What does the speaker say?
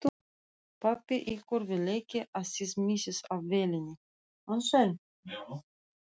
Pabbi ykkar vill ekki að þið missið af vélinni